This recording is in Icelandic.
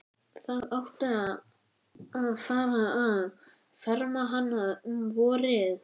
Það átti að fara að ferma hana um vorið.